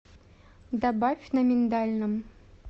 добавь на миндальном